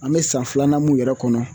An bɛ san filanan mun yɛrɛ kɔnɔ